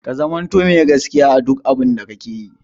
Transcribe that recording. Ka zamanto mai gaskiya a duk abun da kake yi!